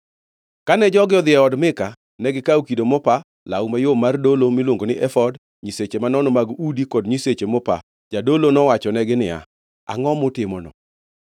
Kane jogi odhi e od Mika ma gikawo kido mopa, law mayom mar dolo miluongo ni efod, nyiseche manono mag udi kod nyiseche mopa, jadolo nowachonegi niya, “Angʼo mutimono?”